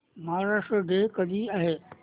Maharashtra day कधी आहे